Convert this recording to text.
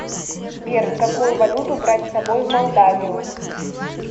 сбер какую валюту брать с собой в молдавию